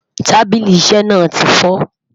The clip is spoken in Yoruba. tábìlì iṣé na tifo